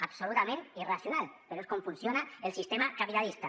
absolutament irracional però és com funciona el sistema capitalista